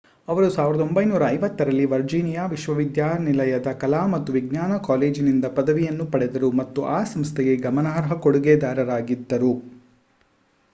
ಅವರು 1950 ರಲ್ಲಿ ವರ್ಜೀನಿಯಾ ವಿಶ್ವವಿದ್ಯಾಲಯದ ಕಲಾ ಮತ್ತು ವಿಜ್ಞಾನ ಕಾಲೇಜಿನಿಂದ ಪದವಿಯನ್ನು ಪಡೆದರು ಮತ್ತು ಆ ಸಂಸ್ಥೆಗೆ ಗಮನಾರ್ಹ ಕೊಡುಗೆದಾರರಾಗಿದ್ದರು